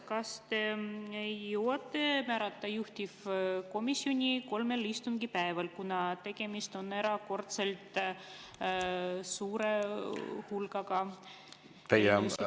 Kas te jõuate määrata juhtivkomisjoni kolme istungipäevaga, kuna tegemist on erakordselt suure hulga eelnõudega?